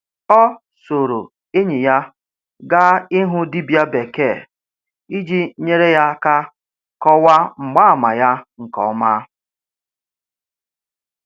Ọ soro enyi ya gaa ịhụ dibia bekee iji nyere ya aka kọwaa mgbaàmà ya nke ọma.